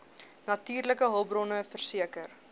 natuurlike hulpbronne verseker